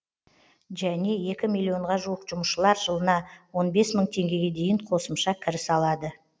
және екі миллионға жуық жұмысшылар жылына он бес мың теңгеге дейін қосымша кіріс алады